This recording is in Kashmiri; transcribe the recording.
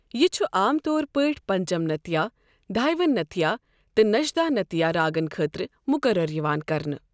یہِ چھُ عام طور پٲٹھۍ پنچمنتیا، دھائیوانتتیا، تہٕ نشدھانتیا راگن خٲطرٕ مُقَرَر یِوان کرنہٕ۔